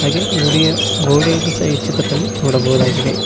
ಹಾಗೆ ಗುಡಿಯ ಗೋಡೆಯನ್ನು ಸಹ ಈ ಚಿತ್ರದಲ್ಲಿ ನೋಡಬಹುದಾಗಿದೆ.